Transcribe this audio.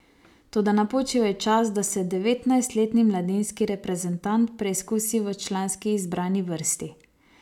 Toda napočil je čas, da se devetnajstletni mladinski reprezentant preizkusi v članski izbrani vrsti.